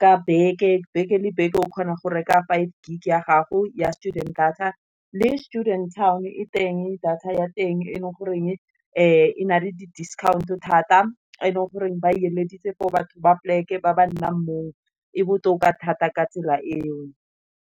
ka beke. Beke le beke o kgona go reka five gig ya gago, ya student data le students town e teng data ya teng, e leng goreng e nale di-discount thata. E leng goreng ba eleditswe for batho ba pleke ba ba nnang mo e botoka thata ka tsela e o.